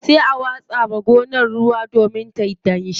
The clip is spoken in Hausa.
Sai a watsa wa gonar ruwa domin tayi danshi.